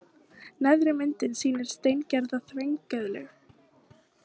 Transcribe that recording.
Neðri myndin sýnir steingerða þvengeðlu.